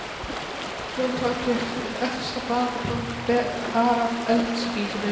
Þá tók ég efsta blaðið og bar að eldspýtunni.